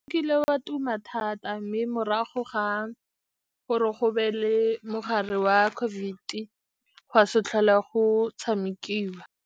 Ekile wa tuma thata, mme morago ga gore go be le mogare wa COVID-e, go a se tlhole go tshamekiwa.